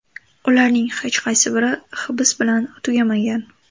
Ularning hech qaysi biri hibs bilan tugamagan.